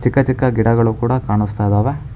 ಚಿಕ್ಕ ಚಿಕ್ಕ ಗಿಡಗಳು ಕೂಡ ಕಾಣಿಸ್ತಾ ಇದಾವೆ.